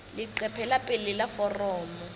leqephe la pele la foromo